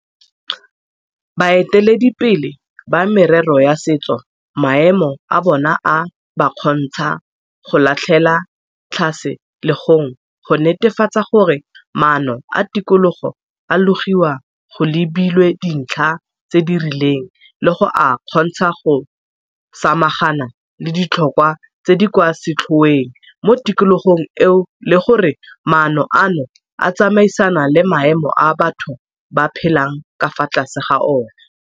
Baeteledipele ba merero ya setso maemo a bona a ba kgontsha go latlhela tlhase legong go netefatsa gore maano a tikologo a logiwa go lebilwe dintlha tse di rileng le go a kgontsha go samagana le ditlhokwa tse di kwa setlhoeng mo tikologong eo le gore maano ano a tsamaisana le maemo a batho ba phelang ka fa tlase ga ona.